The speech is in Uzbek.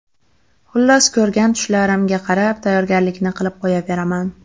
Xullas ko‘rgan tushlarimga qarab, tayyorgarlikni qilib qo‘yaveraman.